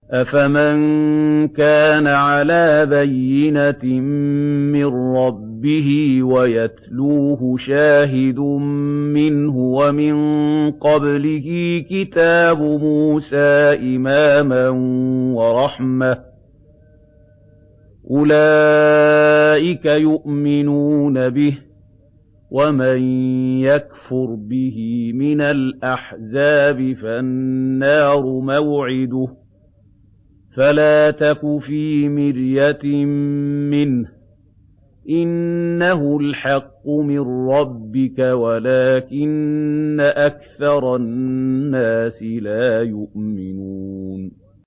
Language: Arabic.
أَفَمَن كَانَ عَلَىٰ بَيِّنَةٍ مِّن رَّبِّهِ وَيَتْلُوهُ شَاهِدٌ مِّنْهُ وَمِن قَبْلِهِ كِتَابُ مُوسَىٰ إِمَامًا وَرَحْمَةً ۚ أُولَٰئِكَ يُؤْمِنُونَ بِهِ ۚ وَمَن يَكْفُرْ بِهِ مِنَ الْأَحْزَابِ فَالنَّارُ مَوْعِدُهُ ۚ فَلَا تَكُ فِي مِرْيَةٍ مِّنْهُ ۚ إِنَّهُ الْحَقُّ مِن رَّبِّكَ وَلَٰكِنَّ أَكْثَرَ النَّاسِ لَا يُؤْمِنُونَ